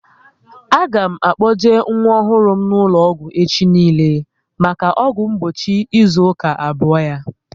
A ga m akpoje nwa ọhụrụ m n'ụlọ ọgwụ echi niile maka ọgwụ mgbochi ịzụ aka abụọ ya